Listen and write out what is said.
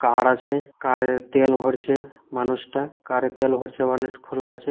কার আছে কার -এ তেল ভরছে মানুষটা কার -এ তেল ভরছে ওয়ানেট খোলা আছে।